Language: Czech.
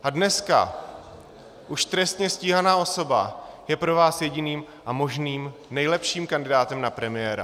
A dneska už trestně stíhaná osoba je pro vás jediným a možným nejlepším kandidátem na premiéra.